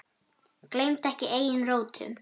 Gleymdu ekki eigin rótum.